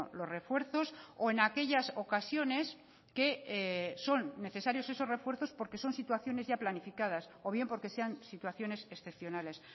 los refuerzos o en aquellas ocasiones que son necesarios esos refuerzos porque son situaciones ya planificadas o bien porque sean situaciones excepcionales